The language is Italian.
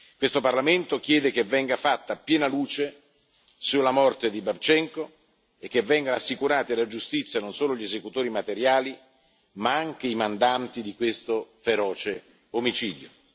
Questo Parlamento chiede che venga fatta piena luce sulla morte di Babčenko e che vengano assicurati alla giustizia non solo gli esecutori materiali, ma anche i mandanti di questo feroce omicidio.